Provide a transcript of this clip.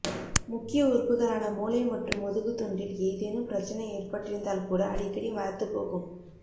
முக்கிய உறுப்புகளான மூளை மற்றும் முதுகு தண்டில் ஏதேனும் பிரச்சனை ஏற்பட்டிருந்தால் கூட அடிக்கடி மரத்து போகும்